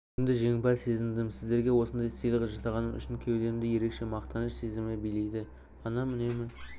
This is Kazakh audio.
өзімді жеңімпаз сезіндім сіздерге осындай сыйлық жасағаным үшін кеудемді ерекше мақтаныш сезімі билейді анам үнемі